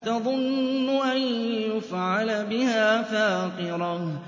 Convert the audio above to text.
تَظُنُّ أَن يُفْعَلَ بِهَا فَاقِرَةٌ